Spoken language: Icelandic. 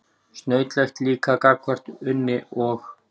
Snautlegt líka gagnvart Unni og